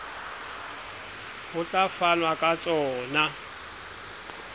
ho tla fanwa ka tsona